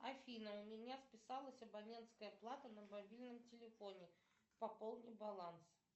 афина у меня списалась абонентская плата на мобильном телефоне пополни баланс